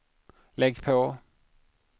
lägg på